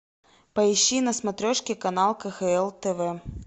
поищи на смотрешке канал кхл тв